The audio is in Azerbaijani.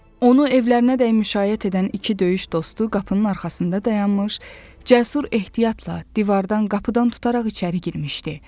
Onu evlərinədək müşayiət edən iki döyüş dostu qapının arxasında dayanmış, Cəsur ehtiyatla divardan, qapıdan tutaraq içəri girmişdi.